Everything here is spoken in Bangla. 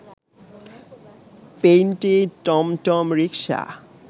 পেইন্টেড টমটম রিকশা